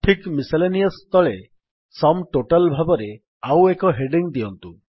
ଠିକ୍ ମିସେଲେନିୟସ୍ ତଳେ sum total ଭାବରେ ଆଉ ଏକ ହେଡିଙ୍ଗ୍ ଦିଅନ୍ତୁ